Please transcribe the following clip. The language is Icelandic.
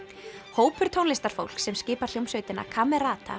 hópur tónlistarfólks sem skipar hljómsveitina